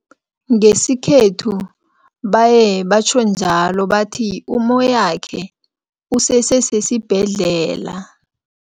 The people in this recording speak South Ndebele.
Ngesikhethu baye batjho njalo bathi, ummoyakhe usese sesibhedlela.